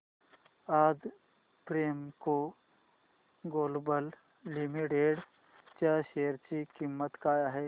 आज Premco Global Limited च्या share ची किंमत काय आहे